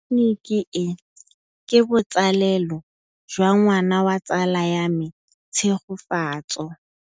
Tleliniki e, ke botsalêlô jwa ngwana wa tsala ya me Tshegofatso.